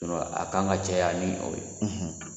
a kan ka caya ni o ye